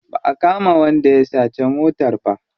Ba a kama wanda ya sace motar ba.